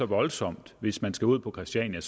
voldsomt hvis man skal ud på christiania